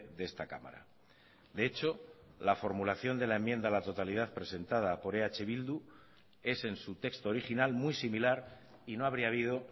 de esta cámara de hecho la formulación de la enmienda a la totalidad presentada por eh bildu es en su texto original muy similar y no habría habido